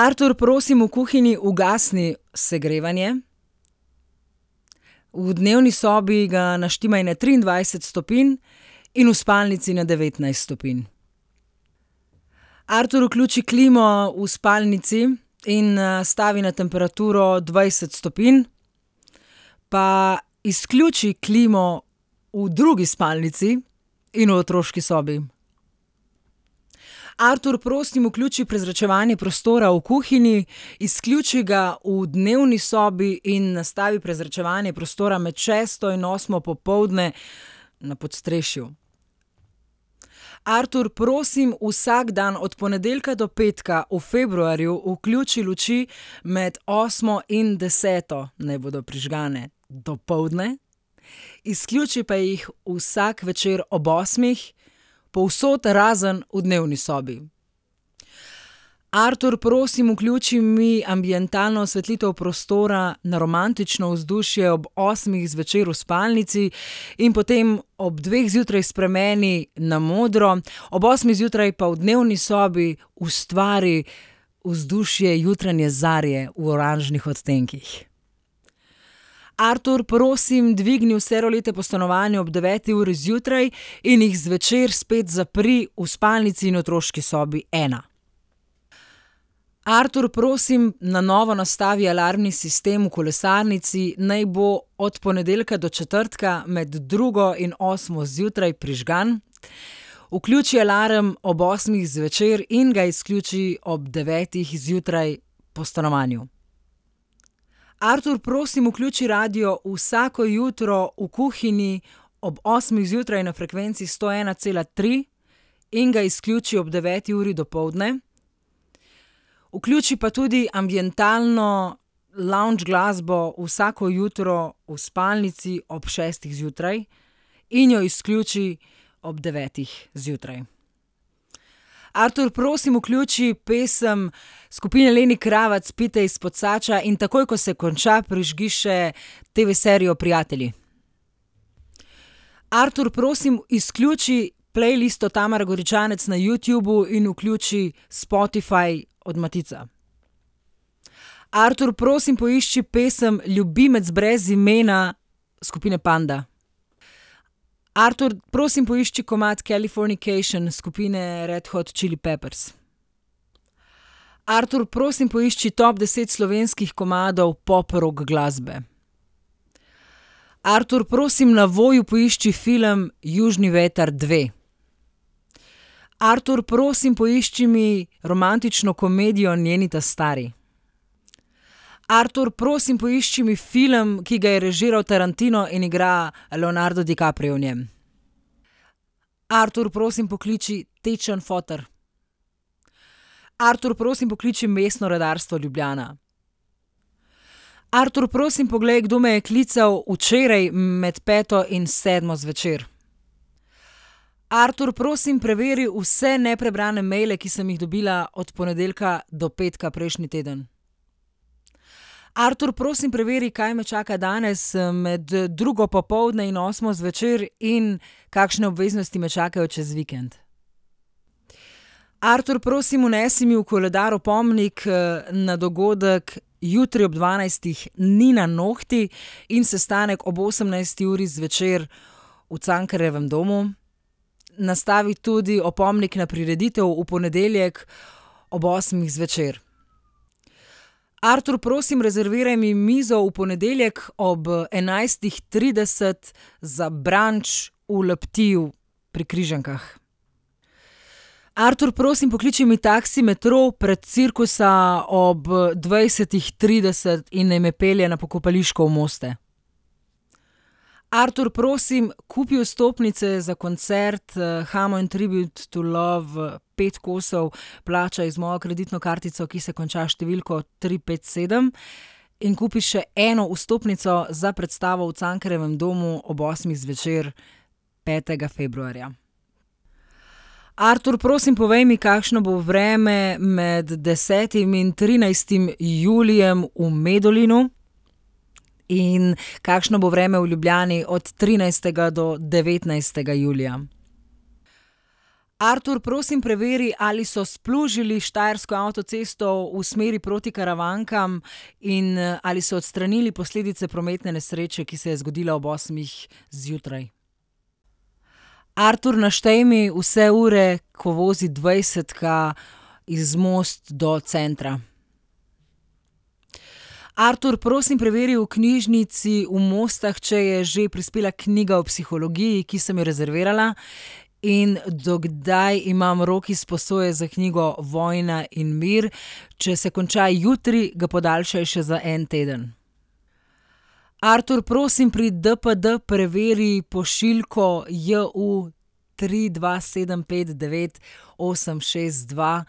Artur, prosim, v kuhinji ugasni segrevanje. V dnevni sobi ga naštimaj na triindvajset stopinj in v spalnici na devetnajst stopinj. Artur, vključi klimo v spalnici in, nastavi na temperaturo dvajset stopinj pa izključi klimo v drugi spalnici in v otroški sobi. Artur, prosim, vključi prezračevanje prostora v kuhinji, izključi ga v dnevni sobi in nastavi prezračevanje prostora med šesto in osmo popoldne na podstrešju. Artur, prosim, vsak dan od ponedeljka do petka v februarju vključi luči, med osmo in deseto naj bodo prižgane, dopoldne, izključi pa jih vsak večer ob osmih povsod razen v dnevni sobi. Artur, prosim, vključi mi ambientalno osvetlitev prostora na romantično vzdušje ob osmih zvečer v spalnici in potem ob dveh zjutraj spremeni na modro. Ob osmih zjutraj pa v dnevni sobi ustvari vzdušje jutranje zarje v oranžnih odtenkih. Artur, prosim, dvigni vse rolete po stanovanju ob deveti uri zjutraj in jih zvečer spet zapri v spalnici in otroški sobi ena. Artur, prosim, na novo nastavi alarmi sistem v kolesarnici. Naj bo od ponedeljka do četrtka med drugo in osmo zjutraj prižgan. Vključi alarm ob osmih zvečer in ga izključi ob devetih zjutraj po stanovanju. Artur, prosim, vključi radio vsako jutro v kuhinji ob osmih zjutraj na frekvenci sto ena cela tri in ga izključi ob deveti uri dopoldne. Vključi pa tudi ambientalno lounge glasbo vsako jutro v spalnici ob šestih zjutraj in jo izključi ob devetih zjutraj. Artur, prosim, vključi pesem skupine Leni Kravac Pite ispod sača, in takoj ko se konča, prižgi še TV-serijo Prijatelji. Artur, prosim, izključi playlisto Tamare Goričanec na Youtubu in vključi Spotify od Matica. Artur, prosim, poišči pesem Ljubimec brez imena skupine Panda. Artur, prosim, poišči komad Californication skupine Red hot chili peppers. Artur, prosim, poišči top deset slovenskih komadov pop rock glasbe. Artur, prosim, na Voyu poišči film Južni vetar dve. Artur, prosim, poišči mi romantično komedijo Njeni ta stari. Artur, prosim, poišči mi film, ki ga je režiral Tarantino in igra Leonardo DiCaprio v njem. Artur, prosim, pokliči tečen foter. Artur, prosim, pokliči Mestno redarstvo Ljubljana. Artur, prosim, poglej, kdo me je klical včeraj med peto in sedmo zvečer. Artur, prosim, preveri vse neprebrane maile, ki sem jih dobila od ponedeljka do petka prejšnji teden. Artur, prosim, preveri, kaj me čaka danes, med drugo popoldne in osmo zvečer in kakšne obveznosti me čakajo čez vikend. Artur, prosim, vnesi mi v koledar opomnik, na dogodek jutri ob dvanajstih - Nina, nohti - in sestanek ob osemnajsti uri zvečer v Cankarjevem domu. Nastavi tudi opomnik na prireditev v ponedeljek ob osmih zvečer. Artur, prosim, rezerviraj mi mizo v ponedeljek ob, enajstih trideset za brunch v Le Petitu pri Križankah. Artur, prosim, pokliči mi taksi Metrov pred Cirkusa ob, dvajsetih trideset in naj me pelje na Pokopališko v Moste. Artur, prosim, kupi vstopnice za koncert Hamo in Tribute to Love pet kosov, plačaj z mojo kreditno kartico, ki se konča s številko tri pet sedem in kupi še eno vstopnico za predstavo v Cankarjevem domu ob osmih zvečer petega februarja. Artur, prosim, povej mi, kakšno bo vreme med desetim in trinajstim julijem v Medulinu in kakšno bo vreme v Ljubljani od trinajstega do devetnajstega julija. Artur, prosim, preveri, ali so splužili štajersko avtocesto v smeri proti Karavankam in, ali so odstranili posledice prometne nesreče, ki se je zgodila ob osmih zjutraj. Artur, naštej mi vse ure, ko vozi dvajsetka iz Most do centra. Artur, prosim, preveri v knjižnici v Mostah, če je že prispela knjiga o psihologiji, ki sem jo rezervirala, in do kdaj imam rok izposoje za knjigo Vojna in mir. Če se konča jutri, ga podaljšaj še za en teden. Artur, prosim, pri DPD preveri pošiljko JU tri, dva, sedem, pet, devet, osem, šest, dva,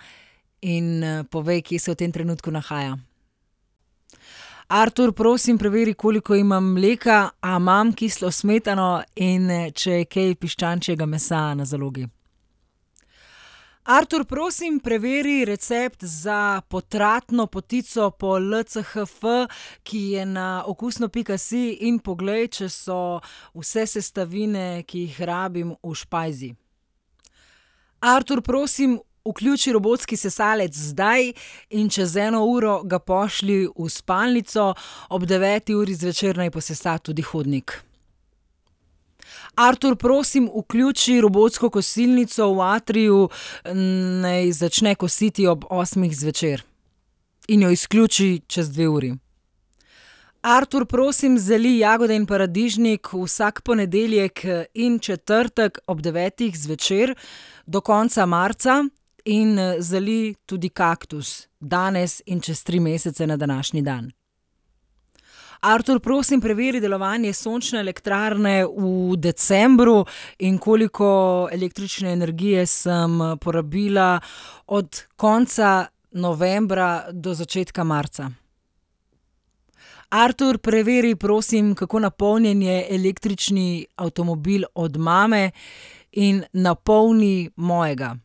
in, povej, kje se v tem trenutku nahaja. Artur, prosim, preveri, koliko imam mleka, a imam kislo smetano in če je kaj piščančjega mesa na zalogi. Artur, prosim, preveri recept za potratno potico po LCHF, ki je na okusno pika si, in poglej, če so vse sestavine, ki jih rabim, v špajzi. Artur, prosim, vključi robotski sesalec zdaj in čez eno uro ga pošlji v spalnico. Ob deveti uri zvečer naj posesa tudi hodnik. Artur, prosim, vključi robotsko kosilnico v atriju, naj začne kositi ob osmih zvečer. In jo izključi čez dve uri. Artur, prosim, zalij jagode in paradižnik vsak ponedeljek in četrtek ob devetih zvečer do konca marca. In, zalij tudi kaktus danes in čez tri mesece na današnji dan. Artur, prosim, preveri delovanje sončne elektrarne v decembru in koliko električne energije sem porabila od konca novembra do začetka marca. Artur, preveri, prosim, kako napolnjen je električni avtomobil od mame, in napolni mojega.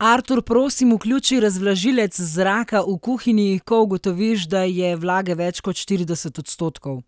Artur, prosim, vključi razvlažilec zraka v kuhinji, ko ugotoviš, da je vlage več kot štirideset odstotkov.